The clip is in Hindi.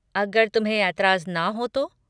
अगर तुम्हें एतराज़ ना हो तो।